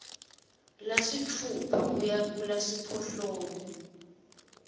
lasitfupha kuya kulasiphohlongo